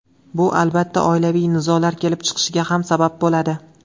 Bu, albatta, oilaviy nizolar kelib chiqishiga ham sabab bo‘ladi.